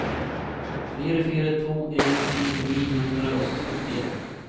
fire fire to en ti ni hundre og syttien